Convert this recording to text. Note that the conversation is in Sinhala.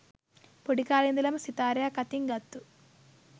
පොඩි කාලෙ ඉඳලම සිතාරයක් අතින් ගත්තු